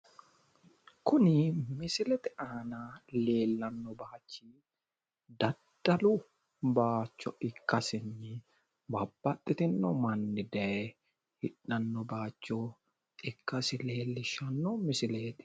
Kuni misilete aana leellanno baayichi daddalu baayiicho ikkasinna babbaxitino manni daye hadhanno baayiicho ikkasi leellishshanno misileeti.